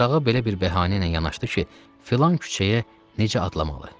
Uşağa belə bir bəhanə ilə yanaşdı ki, filan küçəyə necə adlamalı?